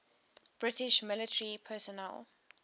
british military personnel